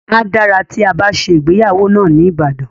A dára tí a bá ṣe ìgbéyàwó náà ní Ibadan.